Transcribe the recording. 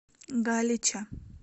галича